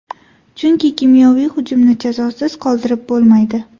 Chunki kimyoviy hujumni jazosiz qoldirib bo‘lmaydi.